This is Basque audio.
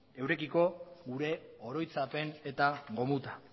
eurekiko gure oroitzapen eta gomutan